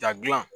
Da dilan